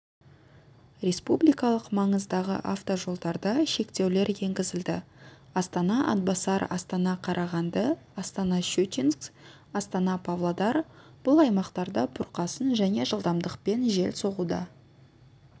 республикалық маңыздағы автожолдарда шектеулер енгізілді астана-атбасар астана-қарағанды астана-щучинск астана-павлодар бұл аймақтарда бұрқасын және жылдамдықпен жел соғуда